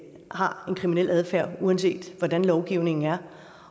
har en kriminel adfærd uanset hvordan lovgivningen er